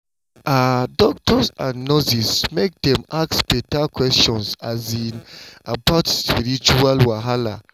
ah doctors and nurses make dem ask beta questions 'bout spiritual wahala